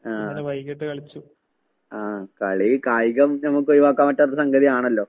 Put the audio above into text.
ആഹ്. ആഹ് കളി കായികം നമുക്കൊഴിവാക്കാൻ പറ്റാത്ത സംഗതിയാണല്ലോ.